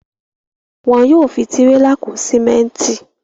Wọn yóò fi tírélà kó símẹ́ńtì.